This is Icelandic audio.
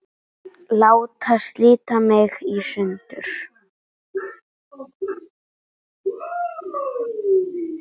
Láta slíta mig í sundur.